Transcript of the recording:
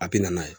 A bi na n'a ye